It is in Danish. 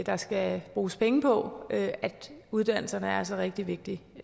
der skal bruges penge på uddannelserne er altså rigtig vigtige